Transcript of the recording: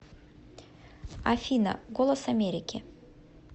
афина голос америки